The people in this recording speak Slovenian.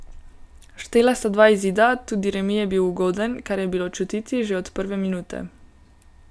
Štela sta dva izida, tudi remi je bil ugoden, kar je bilo čutiti že od prve minute.